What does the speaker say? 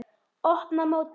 Opna móti.